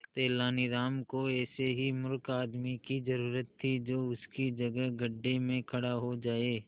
तेनालीराम को ऐसे ही मूर्ख आदमी की जरूरत थी जो उसकी जगह गड्ढे में खड़ा हो जाए